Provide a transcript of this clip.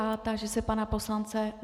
A táži se pana poslance...